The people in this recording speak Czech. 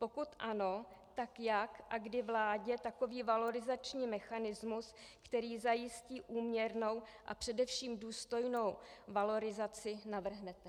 Pokud ano, tak jak a kdy vládě takový valorizační mechanismus, který zajistí úměrnou a především důstojnou valorizaci, navrhnete?